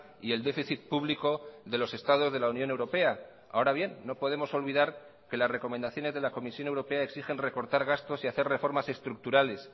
y el déficit público de los estados de la unión europea ahora bien no podemos olvidar que las recomendaciones de la comisión europea exigen recortar gastos y hacer reformas estructurales